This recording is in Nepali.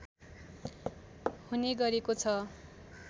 हुने गरेको छ